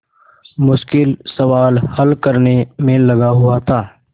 मुश्किल सवाल हल करने में लगा हुआ था